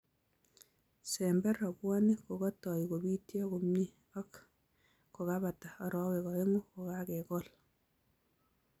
Sember rabwonik kokatoi kobityo komye ak ak kokebata arawek oeng'u kokakekol